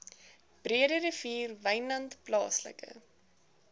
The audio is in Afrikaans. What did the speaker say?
breederivier wynland plaaslike